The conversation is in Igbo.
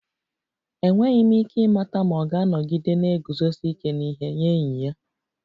Enweghị m ike ịmata ma ọ ga-anọgide na-eguzosi ike n'ihe nye enyi ya